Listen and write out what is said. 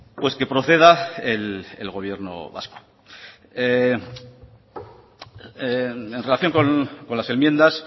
pues que proceda el gobierno vasco en relación con las enmiendas